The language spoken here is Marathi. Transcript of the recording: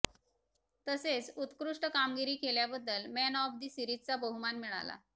तसेच उत्कृष्ट कामगिरी केल्याबद्दल मॅन ऑफ दि सिरीजचा बहुमान मिळाला